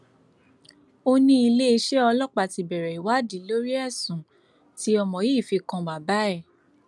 ó ní iléeṣẹ ọlọpàá ti bẹrẹ ìwádìí lórí ẹsùn tí ọmọ yìí fi kan bàbá ẹ